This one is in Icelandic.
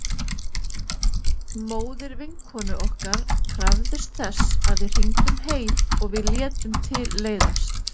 Móðir vinkonu okkar krafðist þess að við hringdum heim og við létum til leiðast.